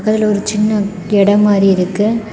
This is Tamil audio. அதுல ஒரு சின்ன இடம் மாதிரி இருக்கு.